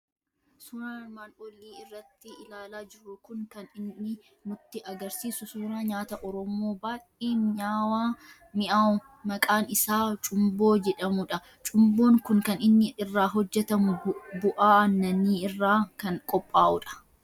Suuraan armaan olii irratti ilaalaa jirru kun kan inni nutti argisiisu suuraa nyaata Oromoo, baay'ee miny'aahu maqaan iaa cumboo jedhamudha. Cumboon kun kan inni irraa hojjetamu bu'aa aannanii irraa kan qophaa'udha.